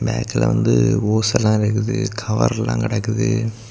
Back வந்து hose எல்லாம் இருக்குது கவர் எல்லாம் கடக்குது.